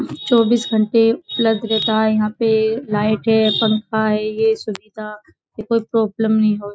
चौबीस घंटे उपलब्ध रहता है यहाँ पर लाइट है पंखा है। ये सुविधा कि कोई प्रॉब्लम नहीं हो --